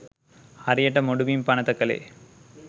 හරියට මුඩුබිම් පනත කලේ